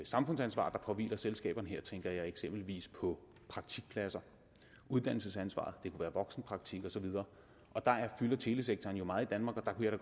samfundsansvar der påhviler selskaberne her tænker jeg eksempelvis på praktikpladser uddannelsesansvaret voksenpraktik og så videre telesektoren fylder jo meget i danmark og jeg